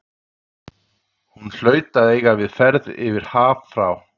Hún hlaut að eiga við ferð yfir haf frá